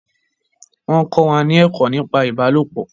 Wọn ń kọ́ wa ni ẹ̀kọ́ nípa ìbálopọ̀